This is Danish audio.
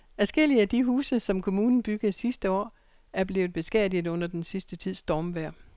Adskillige af de huse, som kommunen byggede sidste år, er blevet beskadiget under den sidste tids stormvejr.